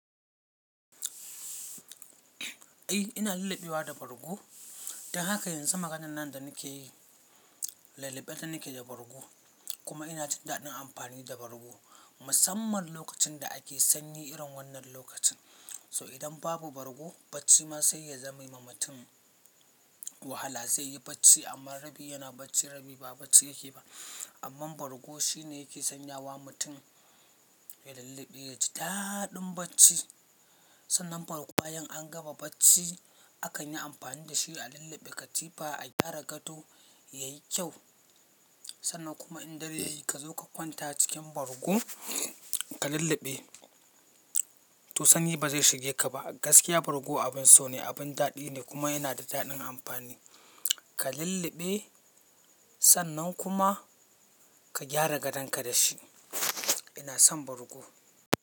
Eh ina lullubewa da bargo, don haka yanzu maganan nan da nake yi lallabe nake da bargo kuma ina jin daɗin amfani da bargo. Musamman lokacin da ake sanyi irin wannan lokacin. So idan babu bargo bacci ma sai ya zame ma mutum wahala, zai yi bacci amma rabi yana bacci, rabi ba bacci yake yi ba. Amma bargo shine yake sanyawa mutum ya lulluɓe ya ji daɗin bacci. Sannan bargo bayan an gama bacci akan yi amfani da shi a lulluɓe katifa, a gyara gado yayi kyau. Sannan kuma in dare yayi ka zo ka kwanta cikin bargo ka lulluɓe, to sanyi ba zai shige ka ba. Gaskiya bargo abin so ne, abin daɗi ne kuma yana da daɗin amfani. Ka lulluɓe sannan kuma ka gyara gadonka da shi. Ina son bargo.